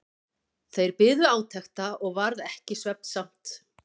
Þeir biðu átekta og varð ekki svefnsamt.